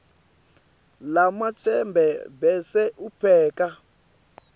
lamacembe bese upheka